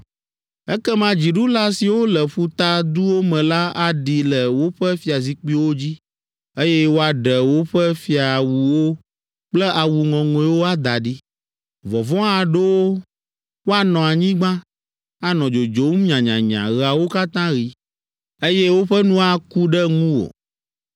Ekema dziɖula siwo le ƒuta duwo me la aɖi le woƒe fiazikpuiwo dzi, eye woaɖe woƒe fiawuwo kple awu ŋɔŋɔewo ada ɖi. Vɔvɔ̃ aɖo wo, woanɔ anyigba, anɔ dzodzom nyanyanya ɣeawo katã ɣi, eye woƒe nu aku ɖe ŋuwò.